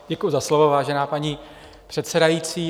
Děkuji za slovo, vážená paní předsedající.